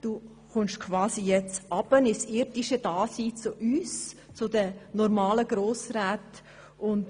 Du kommst nun quasi ins irdische Dasein zu uns «normalen» Grossräten herunter.